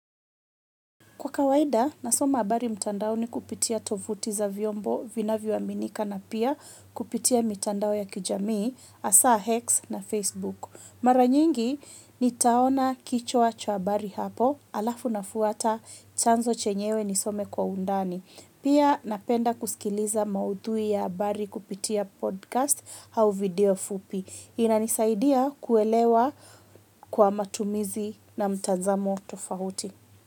Kwa kawaida, nasoma habari mtandaoni kupitia tovuti za vyombo vinavyoaminika na pia kupitia mitandao ya kijamii, hasa X na Facebook. Mara nyingi, nataona kichwa cha habari hapo, halafu nafuata chanzo chenyewe nisome kwa undani. Pia, napenda kusikiliza maudhui ya habari kupitia podcast au video fupi. Inanisaidia kuelewa kwa matumizi na mtazamo tofauti.